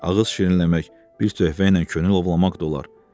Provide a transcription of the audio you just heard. ağız şirinləmək, bir töhfəylə könül ovlamaq da olar.